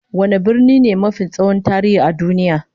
Wane birni ne mafi tsohon tarihi a duniya?